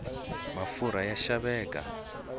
mafurha ya xaveka